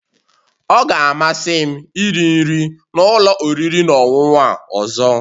Ọ ga-amasị m iri nri na ụlọ oriri na ọṅụṅụ a ọzọ